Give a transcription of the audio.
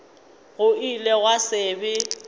go ile gwa se be